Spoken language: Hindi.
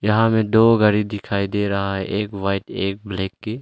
यहां में दो गाड़ी दिखाई दे रहा है एक व्हाइट एक ब्लैक की।